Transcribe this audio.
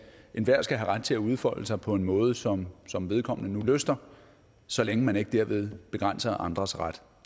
enhver skal have ret til at udfolde sig på en måde som som vedkommende nu lyster så længe man ikke derved begrænser andres ret